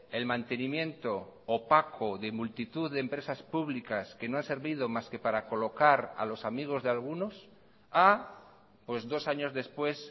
el mantenimiento opaco de multitud de empresas públicas que no ha servido más que para colocar a los amigos de algunos a pues dos años después